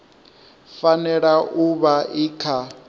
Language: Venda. fanela u vha i kha